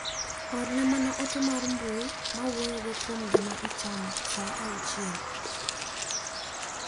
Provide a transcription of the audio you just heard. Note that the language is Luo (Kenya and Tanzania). orne mama ote mar mbui mawuoyo kuom gima ichamo saa auchiel.